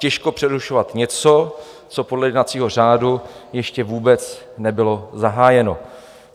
Těžko přerušovat něco, co podle jednacího řádu ještě vůbec nebylo zahájeno.